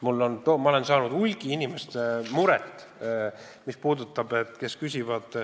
Aga ma olen saanud hulgi murelikke küsimusi.